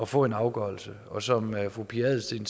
få en afgørelse og som fru pia adelsteen